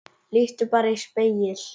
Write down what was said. Líttu bara í spegil.